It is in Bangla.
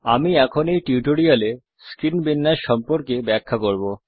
আমি এখন এই টিউটোরিয়াল এ স্ক্রীন বিন্যাস সম্পর্কে ব্যাখ্যা করব